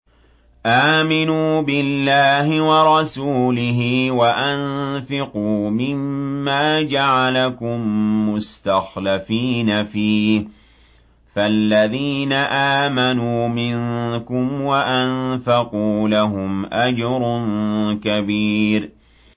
آمِنُوا بِاللَّهِ وَرَسُولِهِ وَأَنفِقُوا مِمَّا جَعَلَكُم مُّسْتَخْلَفِينَ فِيهِ ۖ فَالَّذِينَ آمَنُوا مِنكُمْ وَأَنفَقُوا لَهُمْ أَجْرٌ كَبِيرٌ